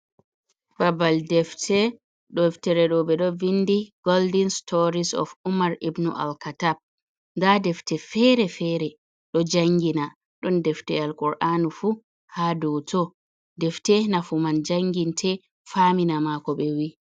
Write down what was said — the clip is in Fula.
Babal defte, deftere ɗo ɓe ɗon vindi goldin storis of ummar ibnu Al katab. Nda defte fere-fere do jangina. Ɗon defte Alkur’anu fu ha dau to. Defte nafuman janginte famina ma ko be vi.